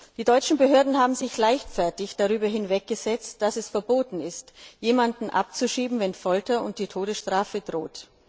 Die deutschen Behörden haben sich leichtfertig darüber hinweggesetzt, dass es verboten ist, jemanden abzuschieben, wenn Folter und die Todesstrafe drohen.